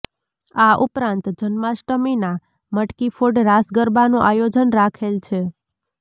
આ ઉપરાંત જન્માષ્ટમીના મટકી ફોડ રાસ ગરબાનું આયોજન રાખેલ છે